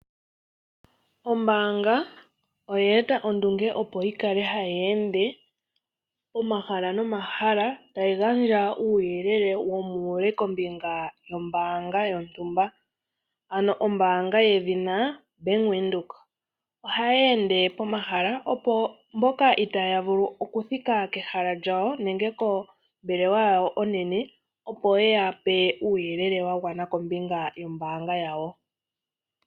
Ombaanga oye eta ondunge opo yikale hayi ende pomahala nomahala tayi gandja uuyelele womuule kombinga yombaanga yontumba. Ombaanga yedhina Bank Windhoek ohayi ende pomahala opo mboka itaya vulu okuthika kehala lyawo nenge kombelewa yawo onene opo yeyape uuyelele wagwana kombinga yombaanga yawo.